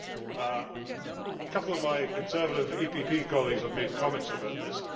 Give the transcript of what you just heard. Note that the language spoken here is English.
A couple of my Conservative EPP colleagues have made comments about this.